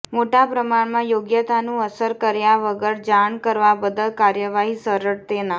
મોટા પ્રમાણમાં યોગ્યતાનું અસર કર્યા વગર જાણ કરવા બદલ કાર્યવાહી સરળ તેના